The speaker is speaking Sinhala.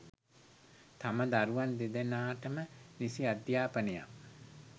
තම දරුවන් දෙදෙනාටම නිසි අධ්‍යාපනයක්